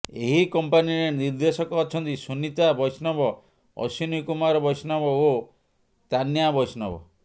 ଏହି କମ୍ପାନୀରେ ନିର୍ଦ୍ଦେଶକ ଅଛନ୍ତି ସୁନିତା ବୈଷ୍ଣବ ଅଶ୍ବିନୀ କୁମାର ବୈଷ୍ଣବ ଓ ତାନ୍ୟା ବୈଷ୍ଣବ